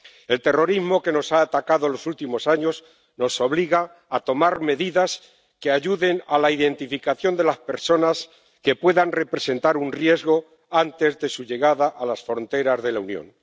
El terrorismo que nos ha atacado en los últimos años nos obliga a tomar medidas que ayuden a la identificación de las personas que puedan representar un riesgo antes de su llegada a las fronteras de la Unión.